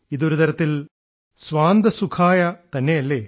ഇത് ഒരുതരത്തിൽ സ്വാന്തസുഖായ തന്നെയല്ലേ